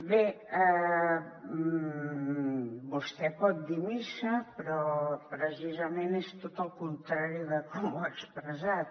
bé vostè pot dir missa però precisament és tot el contrari de com ho ha expressat